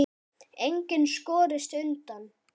Enginn skorist undan.